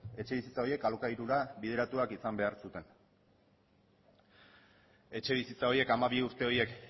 etxebizitza horiek alokairura bideratuak izan behar zuten etxebizitza horiek hamabi urte horiek